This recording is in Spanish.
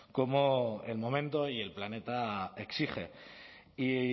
como el momento y el planeta exige y